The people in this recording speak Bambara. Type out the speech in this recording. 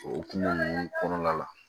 O kungo ninnu kɔnɔna la